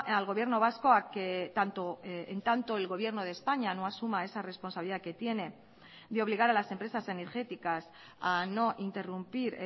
al gobierno vasco a que tanto en tanto el gobierno de españa no asuma esa responsabilidad que tiene de obligar a las empresas energéticas a no interrumpir